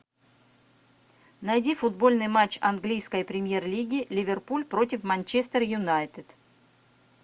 найди футбольный матч английской премьер лиги ливерпуль против манчестер юнайтед